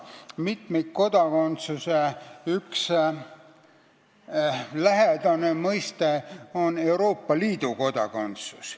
"Mitmikkodakondsuse" üks lähedane mõiste on "Euroopa Liidu kodakondsus".